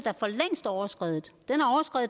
overskredet